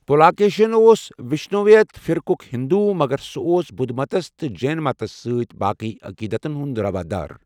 پلاکشین اوس وشنویت فرقُک ہِنٛدو مگر سُہ اوس بدھ متَس تہٕ جین متَس سۭتۍ باقٕی عقیٖدتَن ہُنٛد روادار۔